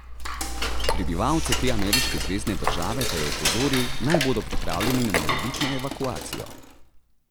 Prebivalce te ameriške zvezne države pa je opozoril, naj bodo pripravljeni na morebitno evakuacijo.